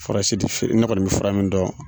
Furasi ti fe ne kɔni bi fura min dɔn